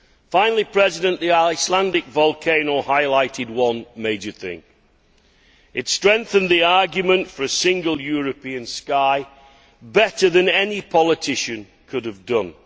Finally Mr President, the Icelandic volcano highlighted one major thing it has strengthened the argument for a Single European Sky better than any politician could have done.